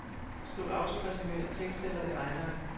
Skriv autoresumé af tekstceller i regneark.